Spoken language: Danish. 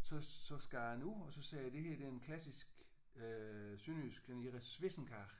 så så skar jeg den ud og så sagde jeg det her det er en klassisk øh sønderjysk den hedder swissenkage